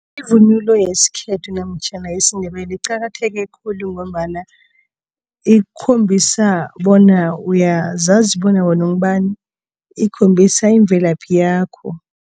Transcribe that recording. Ivunulo yesikhethu namtjhana yesiNdebele iqakatheke khulu ngombana ikhombisa bona uyazazi bona wena ungubani? Ikhombisa imvelaphi yakho.